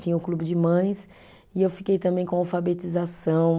Tinha o clube de mães e eu fiquei também com alfabetização.